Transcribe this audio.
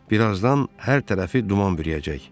Birazdan hər tərəfi duman bürüyəcək.